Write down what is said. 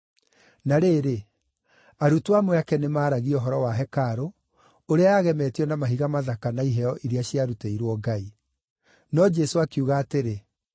Na rĩrĩ, arutwo amwe ake nĩmaragia ũhoro wa hekarũ, ũrĩa yagemetio na mahiga mathaka na iheo iria ciarutĩirwo Ngai. No Jesũ akiuga atĩrĩ,